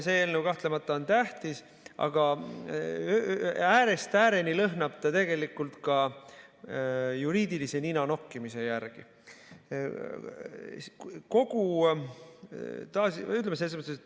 See eelnõu on kahtlemata tähtis, aga lõhnab äärest ääreni tegelikult ka juriidilise ninanokkimise järele.